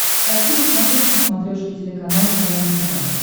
хочу посмотреть на смотрешке телеканал квн тв